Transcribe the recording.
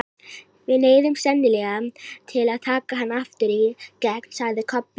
Við neyðumst sennilega til að taka hann aftur í gegn, sagði Kobbi.